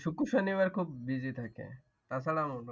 শুক্র, শনিবার খুব busy থাকে। তাছাড়া